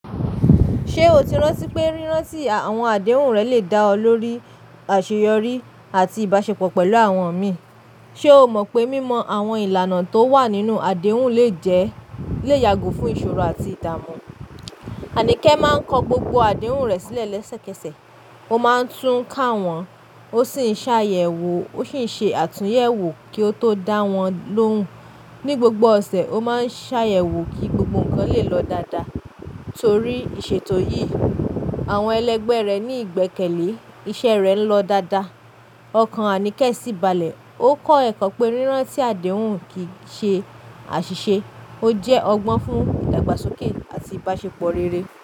Ṣé o ti rántí pé rírán tí àwọn àdéhùn rẹ lè dá ọ lórí àṣeyọrí àti ìbáṣepọ̀ pẹ̀lú àwọn mi? Ṣé o mọ̀ pé mímọ àwọn ìlànà tó wà nínú àdéhùn lè yàgò fún ìṣòro àti ìdààmú? Anike máa ń kọ gbogbo àdéhùn rẹ̀ sílẹ̀ lẹ́sẹ̀kẹsẹ̀. Ó máa ń tún ká wọn, ó sì ń ṣàyẹ̀wò ó sì ń ṣe àtúnyẹ̀wò kí ó tó dá wọn lóhùn. Ni gbogbo ọ̀sẹ̀, ó máa ń ṣàyẹ̀wò kí gbogbo nnkan lè lọ dáadáa. Nítorí ìṣètò yìí, àwọn ẹlẹgbẹ́ rẹ̀ ní ìgbẹ́kẹ̀lé, iṣẹ́ rẹ̀ ń lọ dáadáa. Ọkàn Anike sì balẹ̀. Ó kọ́ ẹ̀kọ́ pé rírán tí àdéhùn kì í ṣe àṣìṣe, ó jẹ́ ọgbọ́n fún ìdàgbàsókè àti ìbáṣepọ̀ rere.